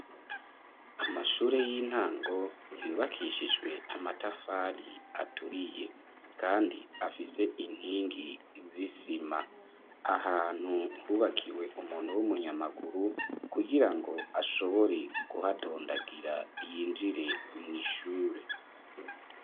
Amashure y'intango yubakishijwe amatafari aturiye kandi afise inkingi z'isima ahantu hubakiwe umuntu w'umunyamaguru kugirango ashobore guhadondagira yinjire mw'ishure.